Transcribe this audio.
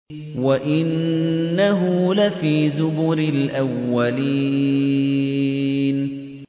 وَإِنَّهُ لَفِي زُبُرِ الْأَوَّلِينَ